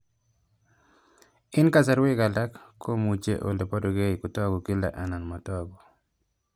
Eng' kasarwek alak komuchi ole parukei kotag'u kila anan matag'u